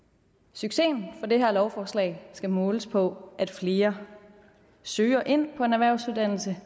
succesen for det her lovforslag skal måles på at flere søger ind på en erhvervsuddannelse